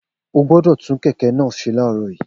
O gbọ́dọ̀ tún kẹ̀kẹ́ náà ṣe láàárọ̀ yìí